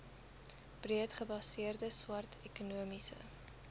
breedgebaseerde swart ekonomiese